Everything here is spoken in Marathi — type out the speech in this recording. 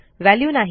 वॅल्यू नाही